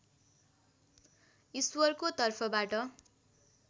ईश्वरको तर्फबाट